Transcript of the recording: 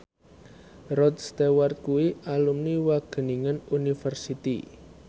Rod Stewart kuwi alumni Wageningen University